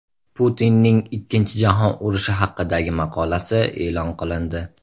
Putinning Ikkinchi jahon urushi haqidagi maqolasi e’lon qilindi.